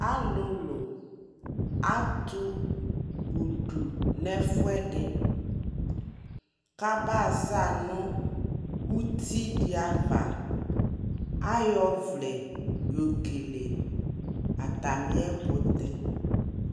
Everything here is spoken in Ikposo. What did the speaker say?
Alulu atu du nɛ fuɛ di ka ba za nu uti di ya avaAyɔ vlɛ yɔ kele ata mi yɛ kutɛ